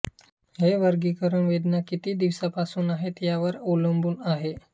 हे वर्गीकरण वेदना किती दिवसापासून आहेत यावर अवलंबून आहे